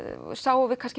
sáum við kannski